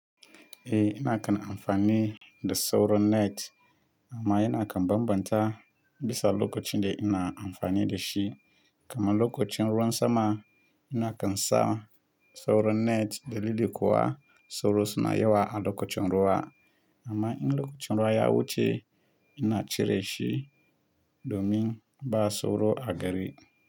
Eh, ina kan amfani da sauro net amma ina kan bambanta bisa lokacin da ina amfani da shi. Kamar lokacin ruwan sama ina kan sa sauro net da liliko wa sauro suna yiwuwa a lokacin ruwa. Amma in lokacin ruwa ya wuce ina cire shi domin ba sauro a gari.